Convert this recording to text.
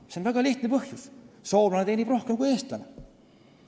Sellel on väga lihtne põhjus: soomlane teenib rohkem kui eestlane.